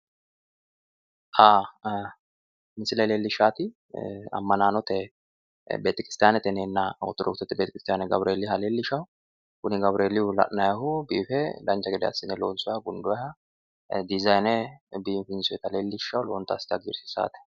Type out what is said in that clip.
xa misile leellishshaati ammanaanote betekirstaanete yinneenna ortodokisete beetekiristaane gawureeliha leellishshanno kuni gawureelihu la'nannihu biife dancha gede assine loonsoonnniha gundoonniha dizayine biifinsoonnita leellishshanno lowonta assite hagiirsiissaate.